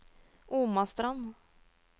Omastrand